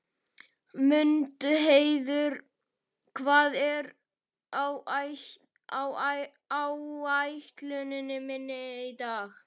Mundheiður, hvað er á áætluninni minni í dag?